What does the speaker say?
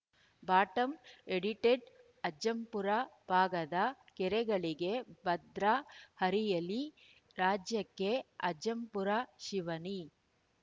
bottom edited Ajjampura ಭಾಗದ ಕೆರೆಗಳಿಗೆ ಭದ್ರ ಹರಿಯಲಿ ರಾಜ್ಯಕ್ಕೆ ಅಜ್ಜಂಪುರ ಶಿವನಿ